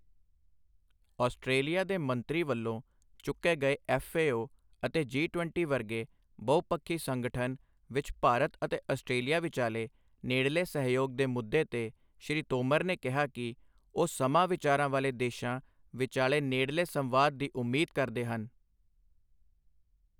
Australia ਦੇ ਮੰਤਰੀ ਵੱਲੋਂ ਚੁੱਕੇ ਗਏ ਐਫਏਓ ਅਤੇ ਜੀ ਵੀਹ ਵਰਗੇ ਬਹੁਪੱਖੀ ਸੰਗਠਨ ਵਿਚ ਭਾਰਤ ਅਤੇ ਆਸਟ੍ਰੇਲੀਆ ਵਿਚਾਲੇ ਨੇੜਲੇ ਸਹਿਯੋਗ ਦੇ ਮੁੱਦੇ ਤੇ, ਸ੍ਰੀ ਤੋਮਰ ਨੇ ਕਿਹਾ ਕਿ ਉਹ ਸਮਾਂ ਵਿਚਾਰਾਂ ਵਾਲੇ ਦੇਸ਼ਾਂ ਵਿਚਾਲੇ ਨੇੜਲੇ ਸੰਵਾਦ ਦੀ ਉਮੀਦ ਕਰਦੇ ਹਨ।